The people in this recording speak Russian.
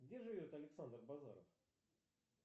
где живет александр базаров